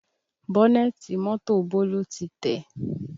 Bọ́nẹ̀tì mọ́tò Bólú tí tẹ̀